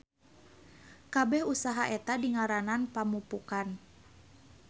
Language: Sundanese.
Kabeh usaha eta dingaranan pamupukan.